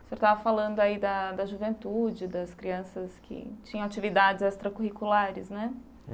Você estava falando aí da da juventude, das crianças que tinham atividades extracurriculares, né?